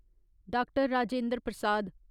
Doctor. Rajendra Prasad